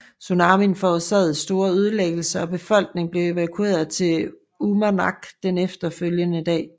Tsunamien forårsagede store ødelæggelser og befolkningen blev evakueret til Uummannaq den efterfølgende dag